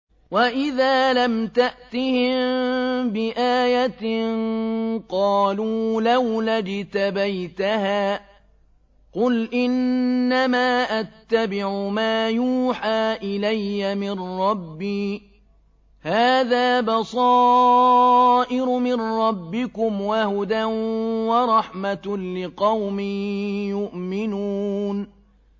وَإِذَا لَمْ تَأْتِهِم بِآيَةٍ قَالُوا لَوْلَا اجْتَبَيْتَهَا ۚ قُلْ إِنَّمَا أَتَّبِعُ مَا يُوحَىٰ إِلَيَّ مِن رَّبِّي ۚ هَٰذَا بَصَائِرُ مِن رَّبِّكُمْ وَهُدًى وَرَحْمَةٌ لِّقَوْمٍ يُؤْمِنُونَ